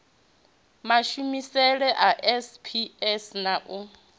mashumisele a sps na u